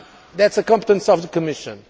That is a competence of the Commission.